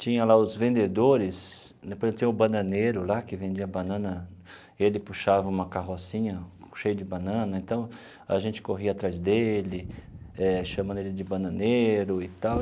Tinha lá os vendedores, depois tinha o bananeiro lá que vendia banana, ele puxava uma carrocinha cheia de banana, então a gente corria atrás dele, chamando ele de bananeiro e tal.